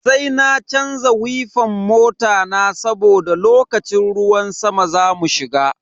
Sai na canza wifan mota na saboda lokacin ruwan sama zamu shiga.